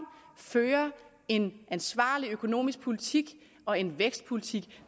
føre en ansvarlig økonomisk politik og en vækstpolitik